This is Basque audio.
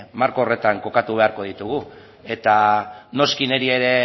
marko horretan kokatu beharko ditugu eta noski niri ere